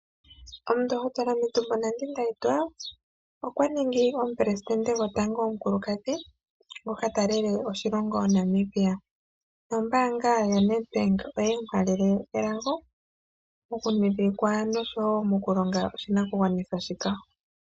Omundohotola Netumbo Nandi-Ndaitwah okwa ningi omupelesidente gwotango omukulukadhi ngoka ta lele oshilongo Namibia . Ombaanga yoNedbank oye mu halele elago mokuwilika noshowo mokulonga oshilonga shika.